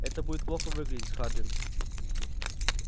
это будет плохо выглядеть хардин